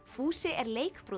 fúsi er